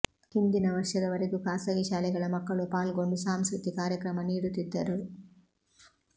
ಹಿಂದಿನ ವರ್ಷದವರೆಗೂ ಖಾಸಗಿ ಶಾಲೆಗಳ ಮಕ್ಕಳೂ ಪಾಲ್ಗೊಂಡು ಸಾಂಸ್ಕೃತಿ ಕಾರ್ಯಕ್ರಮ ನೀಡುತ್ತಿದ್ದರು